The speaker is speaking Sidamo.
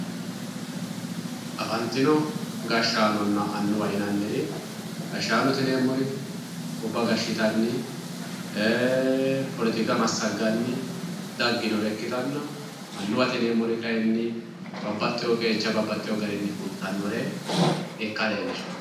afantino gashshaanonna annuwa yinanniri gashaanote yineemori gobba gashshitanni poletika massagganni daginore ikkitanna annuwate yineemori kayiinni babbadhiyo qeecha babbadhiyo garinni fultannore ikka leelishaa.